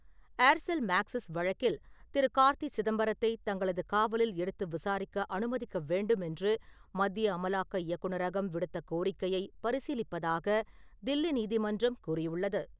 Aircel Maxis வழக்கில் திரு. கார்த்தி சிதம்பரத்தை தங்களது காவலில் எடுத்து விசாரிக்க அனுமதிக்க வேண்டுமென்று மத்திய அமலாக்க இயக்குநரகம் விடுத்த கோரிக்கையை பரிசீலிப்பதாக தில்லி நீதிமன்றம் கூறியுள்ளது.